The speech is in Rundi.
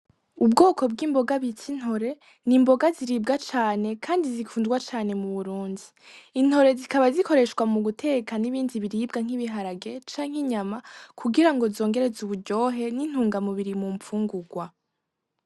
Ubwoko bw'imboga bita intore, ni imboga ziribwa cane kandi zikundwa cane mu Burundi. Intore zikaba zikoreshwa mu guteka n'ibindi biribwa, nk'ibiharage canke inyama, kugirango zongereze uburyohe n'intungamubiri mu mfungurwa.